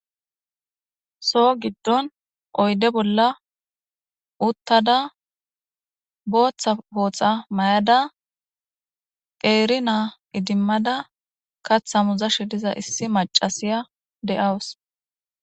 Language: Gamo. soo giddon oyde bolla uttada booththa pooxa mayada qeeri naa idimmada katha muzash diza issi macasiya de7awus